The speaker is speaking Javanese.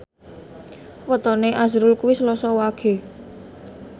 wetone azrul kuwi Selasa Wage